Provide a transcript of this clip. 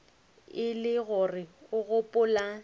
e le gore o gopola